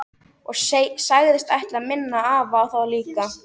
Og sagðist ætla að minna afa á það líka.